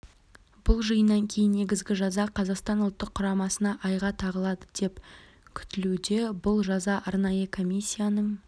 бұл жиыннан кейін негізгі жаза қазақстан ұлттық құрамасына айға тағылады деп күтілуде бұл жаза арнайы комиссияның